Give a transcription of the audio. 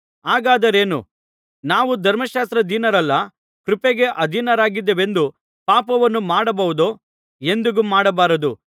ಹಾಗಾದರೇನು ನಾವು ಧರ್ಮಶಾಸ್ತ್ರಾಧೀನರಲ್ಲ ಕೃಪೆಗೆ ಅಧೀನರಾಗಿದ್ದೇವೆಂದು ಪಾಪವನ್ನು ಮಾಡಬಹುದೋ ಎಂದಿಗೂ ಮಾಡಬಾರದು